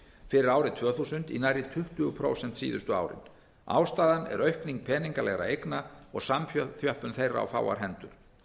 fyrir árið tvö þúsund í nærri tuttugu prósent síðustu árin ástæðan er aukning peningalegra eigna og samþjöppun þeirra á fáar hendur